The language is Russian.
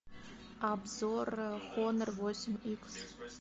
обзор хонор восемь икс